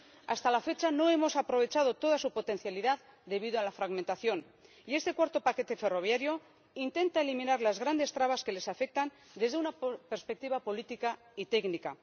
Hasta la fecha no hemos aprovechado toda su potencialidad debido a la fragmentación y este cuarto paquete ferroviario intenta eliminar las grandes trabas que le afectan desde una perspectiva política y técnica.